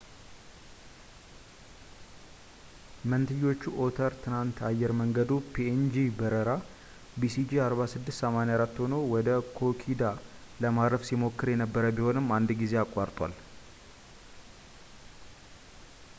መንትዮቹ ኦተር ትናንት አየር መንገዱ ፒኤንጂ በረራ ሲጂ4684 ሆኖ ወደ ኪኮዳ ለማረፍ ሲሞክር የነበረ ቢሆንም አንድ ጊዜ አቋርጧል